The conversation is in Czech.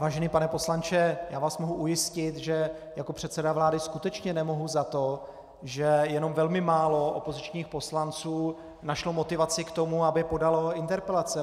Vážený pane poslanče, já vás mohu ujistit, že jako předseda vlády skutečně nemohu za to, že jenom velmi málo opozičních poslanců našlo motivaci k tomu, aby podalo interpelace.